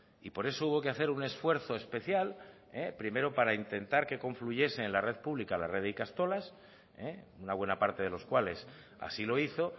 y por eso hubo que hacer un esfuerzo especial primero para intentar que confluyesen la red pública en la red de ikastolas una buena parte de los cuales así lo hizo